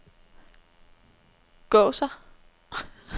Gåser